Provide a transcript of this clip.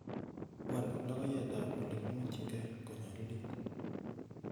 wal logoyet ab olegimuetwng'en konyalilit